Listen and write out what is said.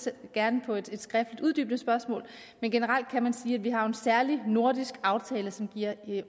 gerne på et skriftligt uddybende spørgsmål men generelt kan man sige at vi jo har en særlig nordisk aftale som giver